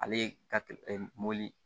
Ale ye kateli ɛ mobili